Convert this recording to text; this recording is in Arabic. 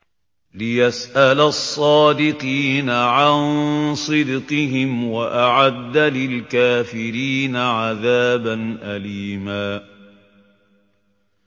لِّيَسْأَلَ الصَّادِقِينَ عَن صِدْقِهِمْ ۚ وَأَعَدَّ لِلْكَافِرِينَ عَذَابًا أَلِيمًا